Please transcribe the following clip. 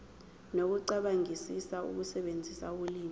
nokucabangisisa ukusebenzisa ulimi